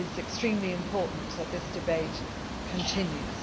It is extremely important that this debate continues.